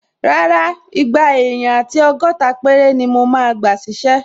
Rárá, igba èèyàn àti ọgọ́ta péré ni mo máa gbà ṣísẹ́